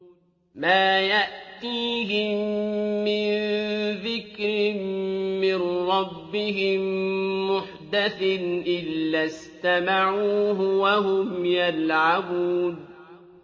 مَا يَأْتِيهِم مِّن ذِكْرٍ مِّن رَّبِّهِم مُّحْدَثٍ إِلَّا اسْتَمَعُوهُ وَهُمْ يَلْعَبُونَ